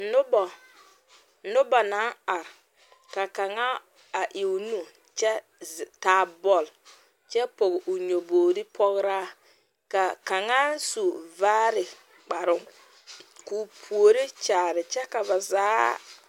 Nobɔ noba naŋ are ka kaŋa a e o nu kyɛ taa bɔl kyɛ pɔge o nyɔbogre pɔgraa ka kaŋa su vaare kparoŋ ka o puori kyaare kyɛ ka ba zaa.